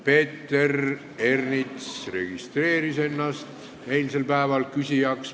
Peeter Ernits registreeris ennast eilsel päeval küsijaks.